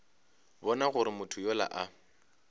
bona gore motho yola a